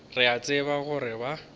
re a tseba gore ba